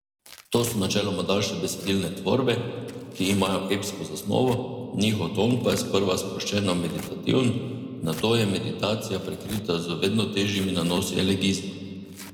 To so načeloma daljše besedilne tvorbe, ki imajo epsko zasnovo, njihov ton pa je sprva sproščeno meditativen, nato je meditacija prekrita z vedno težjimi nanosi elegizma.